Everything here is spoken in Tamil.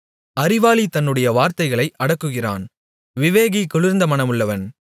அறிவாளி தன்னுடைய வார்த்தைகளை அடக்குகிறான் விவேகி குளிர்ந்த மனமுள்ளவன்